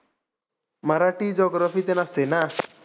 Marathi geography ते नसते ना?